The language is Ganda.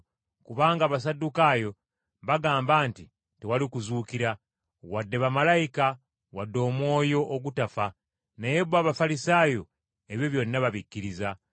kubanga Abasaddukaayo bagamba nti tewali kuzuukira wadde bamalayika, wadde omwoyo ogutafa, naye bo Abafalisaayo ebyo byonna babikkiriza.